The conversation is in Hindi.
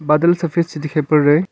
बादल सफेद से दिखाई पड़ रहे हैं।